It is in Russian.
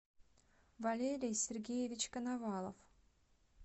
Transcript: валерий сергеевич коновалов